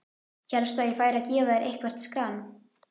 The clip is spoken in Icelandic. Hélstu að ég færi að gefa þér eitthvert skran?